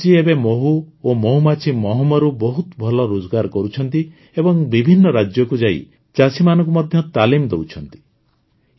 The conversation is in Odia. ନିମିତ ଜୀ ଏବେ ମହୁ ଓ ମହୁମାଛି ମହମରୁ ବହୁତ ଭଲ ରୋଜଗାର କରୁଛନ୍ତି ଏବଂ ବିଭିନ୍ନ ରାଜ୍ୟକୁ ଯାଇ ଚାଷୀମାନଙ୍କୁ ତାଲିମ ମଧ୍ୟ ଦେଉଛନ୍ତି